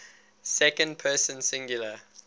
second person singular